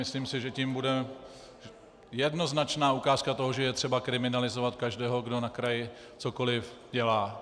Myslím si, že to bude jednoznačná ukázka toho, že je třeba kriminalizovat každého, kdo na kraji cokoliv dělá.